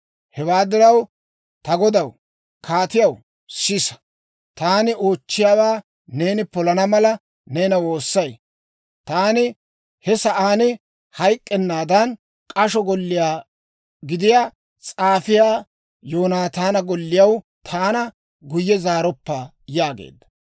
Hewaa diraw, ta godaw kaatiyaw, sisa! Taani oochchiyaawaa neeni polana mala, neena woossay. Taani he sa'aan hayk'k'ennaadan, k'asho golliyaa gidiyaa s'aafiyaa Yoonataana golliyaw taana guyye zaaroppa» yaageedda.